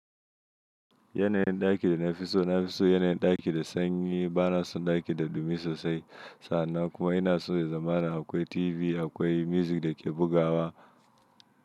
Yanayin ɗaki da na fi so, na fi so yanayin ɗaki da sanyi ba na son ɗaki da dumi sosai. Sannan kuma ina son ya zamana akwai TV, akwai music da ke bugawa.